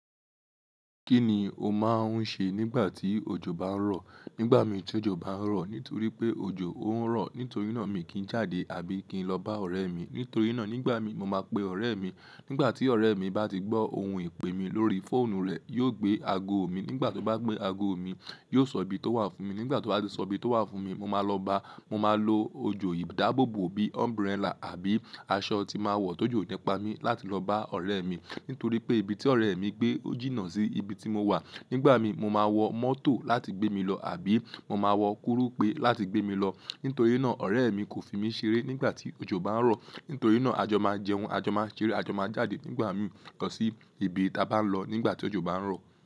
Kí ni o máa ń ṣe nígbà tí òjò bá ń rọ̀? Nígbà mí tí òjò bá ń rọ̀, nítorí pé òjò ń rọ̀, nítorí náà mi kì í jáde àbí kì í lọ bá ọ̀rẹ́ mi. Nítorí náà nígbà mí, mo máa pe ọ̀rẹ́ mi. Nígbà tí ọ̀rẹ́ mi bá ti gbọ́ ohùn ìpè mi lórí fóònù rẹ̀, yóò gbé ago mi. Nígbà tí ó bá gbé ago mi, yóò sọ ibi tó wà fún mi. Nígbà tí ó bá ti sọ ibi tó wà fún mi, mo máa lọ báa, mo máa lo ojò ìdáàbòbò bí umbrella àbí aṣọ tí màá wọ̀ tó jù nípa mi láti lọ bá ọ̀rẹ́ mi. Nítorí pé ibi tí ọ̀rẹ́ mi gbé o jìnà sí ibi tí mo wà. Nígbà mí, mo máa wọ mọ́tò láti gbé mi lọ àbí mo máa wọ koropé láti gbé mi lọ. Nítorí náà ọ̀rẹ́ mi kò fi mí ṣeré nígbà tí òjò bá ń rọ̀. Nítorí náà a jọ máa jẹun, a jọ máa ṣeré, a jọ máa jáde nígbà mí lọ sí ibi tí a bá ń lọ nígbà tí òjò bá ń rọ̀.